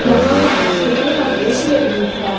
यहां पर हॉस्पिटल का दृश्य दिख रहा--